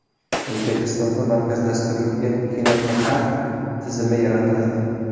O‘zbekistonda markazlashtirilgan kinoprokat tizimi yaratiladi.